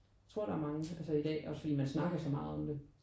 Jeg tror der er mange altså i dag også fordi man snakker så meget om det